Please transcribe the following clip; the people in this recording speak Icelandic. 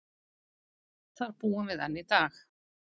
Þar búum við enn í dag.